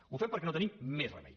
ho fem perquè no tenim més remei